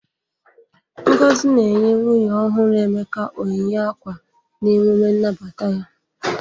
Ngozi na-enye nwunye ọhụrụ Emeka onyinye ákwà n'emume nnabata ya.